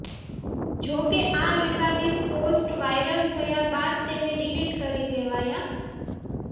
જોકે આ વિવાદીત પોસ્ટ વાયરલ થયા બાદ તેને ડિલિટ કરી દેવાયા